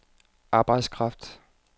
arbejdskraft